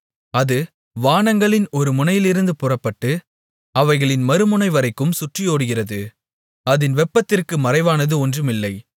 அது வானங்களின் ஒரு முனையிலிருந்து புறப்பட்டு அவைகளின் மறுமுனைவரைக்கும் சுற்றியோடுகிறது அதின் வெப்பத்திற்கு மறைவானது ஒன்றுமில்லை